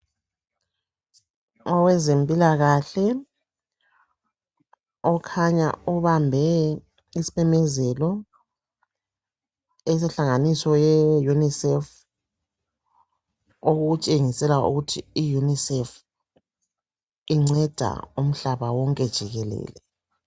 Owezempilakahle ukhanya ubambe isimemezelo esenhlanganiso ye UNISEF, okutshengisela ukuthi I UNISEF inceda umhlaba wonke jikelele.